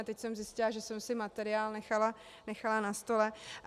A teď jsem zjistila, že jsem si materiál nechala na stole.